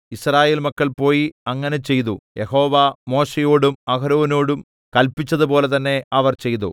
യിസ്രായേൽ മക്കൾ പോയി അങ്ങനെ ചെയ്തു യഹോവ മോശെയോടും അഹരോനോടും കല്പിച്ചതുപോലെ തന്നെ അവർ ചെയ്തു